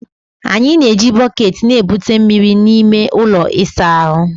A na-eji bọket na-ebute mmiri n'ime ụlọ ịsa ahụ.